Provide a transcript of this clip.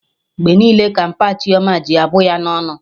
Mgbe niile ka mpa Chioma ji abụ ya ọnụ